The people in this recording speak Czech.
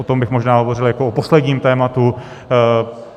O tom bych možná hovořil jako o posledním tématu.